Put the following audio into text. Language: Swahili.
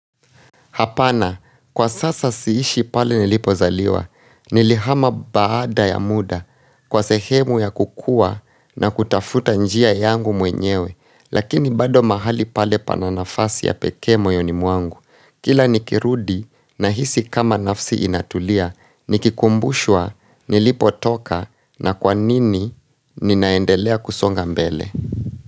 Hapana, kwa sasa siishi pale nilipozaliwa, nilihama baada ya muda, kwa sehemu ya kukua na kutafuta njia yangu mwenyewe, lakini bado mahali pale pananafasi ya pekee moyoni muangu. Kila nikirudi nahisi kama nafsi inatulia, nikikumbushwa nilipotoka na kwanini ninaendelea kusonga mbele.